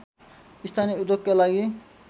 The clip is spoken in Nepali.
स्थानीय उद्योगका लागि